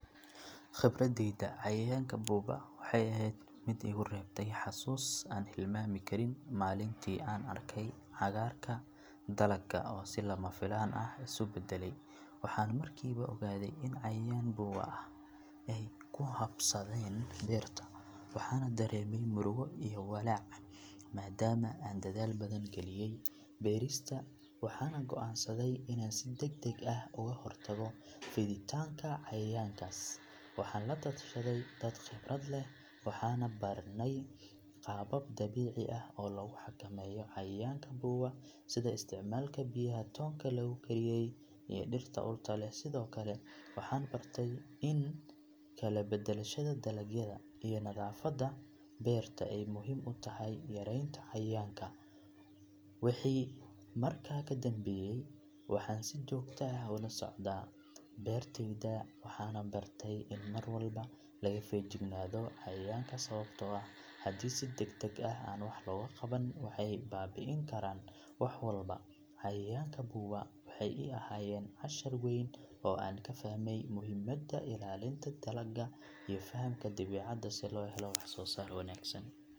Khibradeyda cayayaanka buuba waxay ahayd mid igu reebtay xasuus aan hilmaami karin maalintii aan arkay cagaarka dalagga oo si lama filaan ah isu beddelay waxaan markiiba ogaaday in cayayaan buuba ah ay ku habsadeen beerta waxaana dareemay murugo iyo walaac maadaama aan dadaal badan geliyay beerista waxaan go'aansaday inaan si degdeg ah uga hortago fiditaanka cayayaankaas waxaan la tashaday dad khibrad leh waxaana baranay qaabab dabiici ah oo lagu xakameeyo cayayaanka buuba sida isticmaalka biyaha toonka lagu kariyay iyo dhirta urta leh sidoo kale waxaan bartay in kala beddelashada dalagyada iyo nadaafadda beerta ay muhiim u tahay yaraynta cayayaanka wixii markaa ka dambeeyay waxaan si joogto ah ula socdaa beertayda waxaanan bartay in mar walba laga feejignaado cayayaanka sababtoo ah haddii si degdeg ah aan wax looga qaban waxay baabi’in karaan wax walba cayayaanka buuba waxay ii ahaayeen cashar weyn oo aan ka fahmay muhiimadda ilaalinta dalagga iyo fahamka dabiicadda si loo helo wax soo saar wanaagsan.